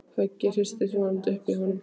Höggið hristir vonandi upp í honum.